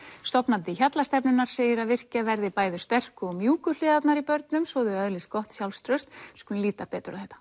stofnandi Hjallastefnunnar segir að virkja verði bæði sterku og mjúku hliðarnar í börnum svo þau öðlist gott sjálfstraust lítum betur á þetta